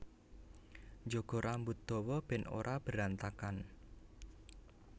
Njaga rambut dawa ben ora berantakan